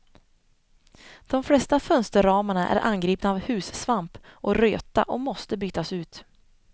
De flesta fönsterramarna är angripna av hussvamp och röta och måste bytas ut.